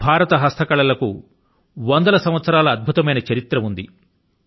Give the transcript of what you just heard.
భారత హస్తకళ కు వందల సంవత్సరాల అద్భుతమైన చరిత్ర ఉంది